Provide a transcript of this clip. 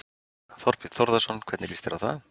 Þorbjörn Þórðarson: Hvernig líst þér á það?